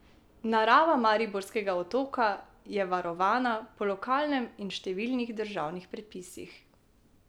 Narava Mariborskega otoka je varovana po lokalnem in številnih državnih predpisih.